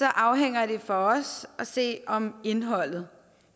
afhænger det for os at se om indholdet